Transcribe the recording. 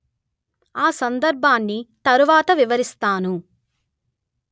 ఆ సందర్భాన్ని తర్వాత వివరిస్తాను